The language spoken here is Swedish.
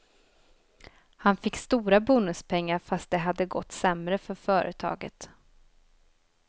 Han fick stora bonuspengar fast det hade gått sämre för företaget.